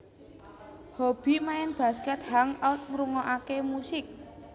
Hobi Main basket Hang out ngrungokake musik